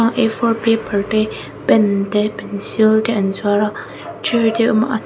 a four paper te pen te pencil te an zuar a chair te a awm a.